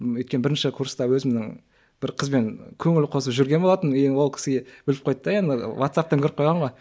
өйткені бірінші курста өзімнің бір қызбен көңіл қосып жүрген болатынмын енді ол кісіге біліп қойды да енді ватсаптан көріп қойған ғой